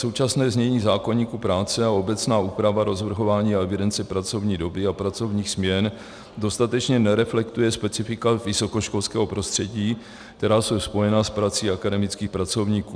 Současné znění zákoníku práce a obecná úprava rozvrhování a evidence pracovní doby a pracovních směn dostatečně nereflektuje specifika vysokoškolského prostředí, která jsou spojená s prací akademických pracovníků.